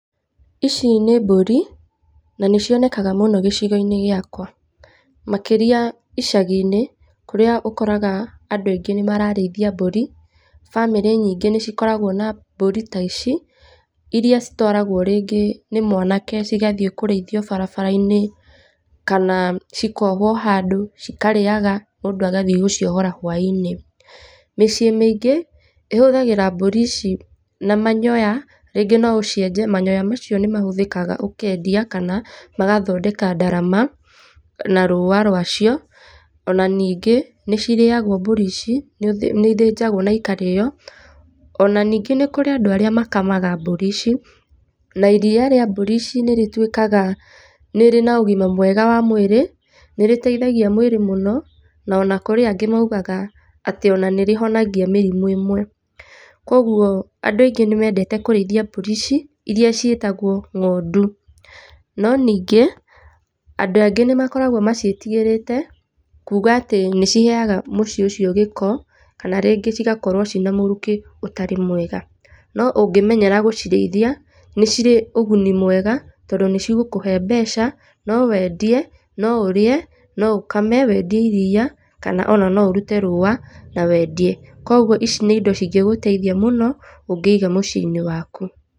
Ici nĩ mbũri, na nĩ cionekaga muno gicigoinĩ gĩakwa. Makĩria icaginĩ kũrĩa ũkoraga andũ aingĩ mararĩithia mbũri, bamĩrĩ nyingĩ nĩ cikoragwa na mbũri ta ici, iria citwaragwa rĩngĩ nĩ mwanake cigathi kũraithio barabarainĩ kana cikohwo handũ cikarĩagwa mũndũ agathi gũciohora hwaĩinĩ. Mĩciĩ mĩingĩ ĩhũthagĩra mbũri ici na manyoa rĩngĩ noũcienje rĩngĩ manyoa macio nĩmahũthĩkaga gũkendia kana magathondeka ndarama na rũa rũacio, ona ningĩ, nĩ cirĩagwa mbũri ici, nĩ ithĩnjagwo na ikarĩo, ona ningĩ nĩ kũrĩ andũ arĩa makamaga mbũri ici, na iria rĩa mbũri ici nĩ rĩtuĩkaga nĩ rĩ na ũgima mwega wa mwĩrĩ, nĩ rĩteithagia mwĩrĩ mũno, ona kũrĩ angĩ mokaga atĩ ona nĩ rĩhonagia mĩrimũ ĩmwe. Koguo andũ aingĩ nĩ mendete kũrĩthia mbũri ici irĩa ciĩtagwo ngondũ. No ningĩ, andũ angĩ nĩ makoragwa maciĩtigĩrĩte kuuga atĩ nĩ ciheaga mũciĩ ũcio gĩko, kana rĩngĩ cigakorwa cina mũrukĩ ũtarĩ mwega. No ũngĩcimenyera kũcirĩithia nĩcirĩ ũguni mwega na nĩ cigũkũhe mbeca, no wendie, no ũrĩe, no ũkame wendie iria, kana ona no ũrute rũa na wendie. Koguo ici ni indo cingĩgũteithia mũno ũngĩiga mũciĩ- inĩ waku.